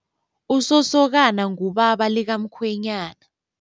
Usosokana ngubaba likamkhwenyana.